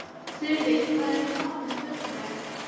Sirrí, hvað er í matinn á föstudaginn?